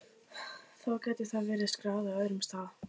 Þó gæti það verið skráð á öðrum stað.